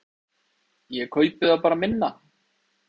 Ég kaupi þá bara minna.